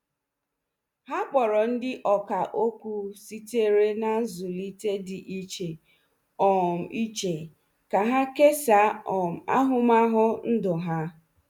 Ha kpọrọ ndị ọkà okwu sitere na nzụlite dị iche um iche ka ha kesaa um ahụmahụ ndụ ha.